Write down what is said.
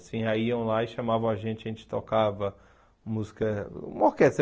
Assim aí iam lá e chamavam a gente, a gente tocava música, uma orquestra.